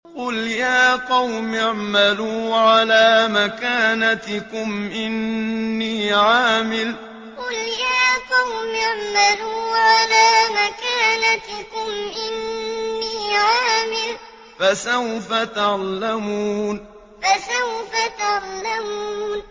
قُلْ يَا قَوْمِ اعْمَلُوا عَلَىٰ مَكَانَتِكُمْ إِنِّي عَامِلٌ ۖ فَسَوْفَ تَعْلَمُونَ قُلْ يَا قَوْمِ اعْمَلُوا عَلَىٰ مَكَانَتِكُمْ إِنِّي عَامِلٌ ۖ فَسَوْفَ تَعْلَمُونَ